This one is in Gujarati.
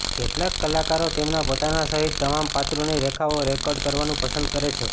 કેટલાક કલાકારો તેમના પોતાના સહિત તમામ પાત્રોની રેખાઓ રેકોર્ડ કરવાનું પસંદ કરે છે